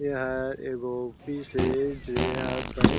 एहा एगो ऑफिस अउ जे यहाँ बैंक --